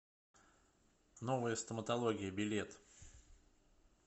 новая стоматология билет